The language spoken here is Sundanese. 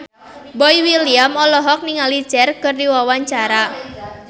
Boy William olohok ningali Cher keur diwawancara